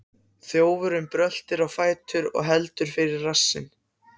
Þjófurinn bröltir á fætur og heldur fyrir rassinn.